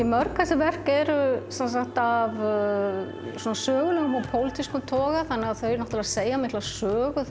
mörg þessi verk eru af sögulegum og pólitískum toga þau segja mikla sögu